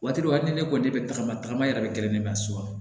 Waati dɔ hali ni ne ko ne bɛ tagama tagama yɛrɛ bɛ gɛrɛ ne ma so kɔnɔ